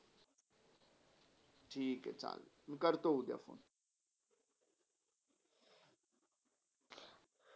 ठीके चालतो, करतो मी उद्या फोन